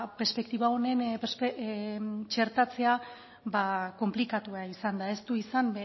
perspektiba honen txertatzea konplikatua izan da ez du izan